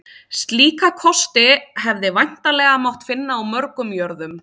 Slíka kosti hefði væntanlega mátt finna á mörgum jörðum.